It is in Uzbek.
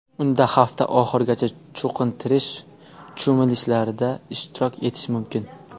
Unda hafta oxirigacha cho‘qintirish cho‘milishlarida ishtirok etish mumkin.